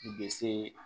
U bɛ se